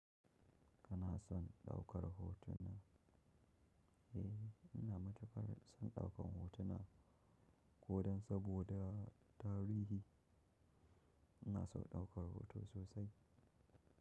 Kana son ɗaukar hotuna? Eh, ina matukar son ɗaukan hotuna ko dan saboda tarihi. Ina son ɗaukar hoto sosai.